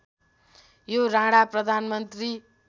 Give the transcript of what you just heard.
यो राणा प्रधानमन्त्री